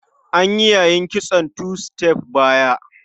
An yi yayin kitson two star bara.